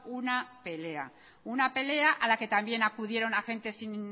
una pelea una pelea a la que también acudieron agentes sin